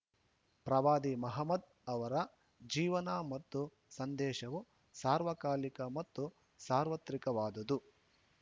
ಪ್ರವಾದಿ ಮಹಮದ್‌ ಅವರ ಜೀವನ ಮತ್ತು ಸಂದೇಶವು ಸಾರ್ವಕಾಲಿಕ ಮತ್ತು ಸಾರ್ವತ್ರಿಕವಾದುದು